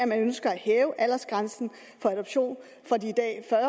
man ønsker at hæve aldersgrænsen for adoption fra de i dag